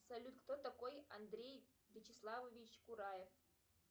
салют кто такой андрей вячеславович кураев